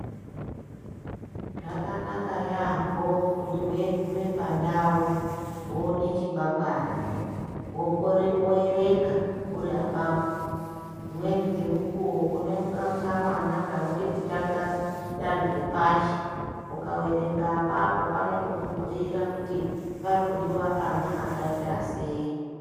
Zvakanaka yaambo kuti weigume pandau woone chikwangwari, woerenga uri apapo. Dzimweni dzemukuwo une kamwana kanode kutanga danho rekupashi Ukaerenga apapo panotokubhuyira kuti pari kudiwa ana akaita sei.